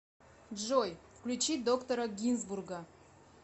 джой включи доктора гинзбурга